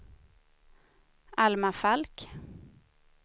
Alma Falk